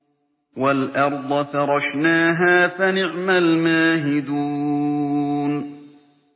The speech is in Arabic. وَالْأَرْضَ فَرَشْنَاهَا فَنِعْمَ الْمَاهِدُونَ